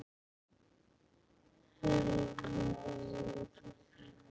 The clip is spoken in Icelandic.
Helga Þóris.